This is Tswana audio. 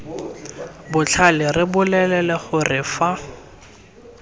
botlhale re bolelele gore fa